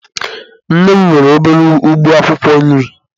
Nne m nwere obere ugbo akwukwo nri.